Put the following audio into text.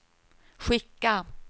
skicka